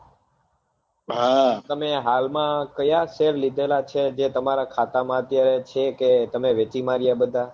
હા તમે હાલ માં કયા share લીધેલા છે જે તમારા ખાતા માં અત્યારે છે કે તમે વેચી માર્યા બધાં